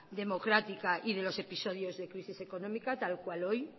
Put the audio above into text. democrática y de los episodios de crisis económica tal cual hoy